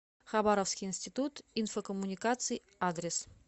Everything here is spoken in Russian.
хабаровский институт инфокоммуникаций адрес